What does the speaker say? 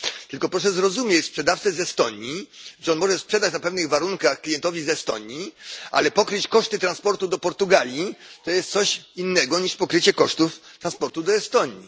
Tylko proszę zrozumieć sprzedawcę z Estonii, że on może sprzedać na pewnych warunkach klientowi z Estonii, ale pokryć koszty transportu do Portugalii to jest coś innego niż pokrycie kosztów transportu do Estonii.